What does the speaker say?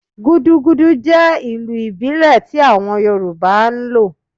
Gúdúgúdú jẹ ilu ibile tí awon Yoruba n lo